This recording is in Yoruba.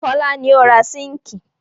Fọlá ni ó ra síńkì.